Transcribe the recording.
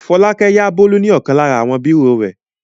Fọlákẹ́ yá Bólú ní ọ̀kan lára àwọn bírò rẹ̀.